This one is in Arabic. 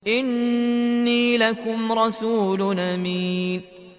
إِنِّي لَكُمْ رَسُولٌ أَمِينٌ